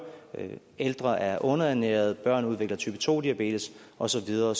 at ældre er underernærede at børn udvikler type to diabetes og så videre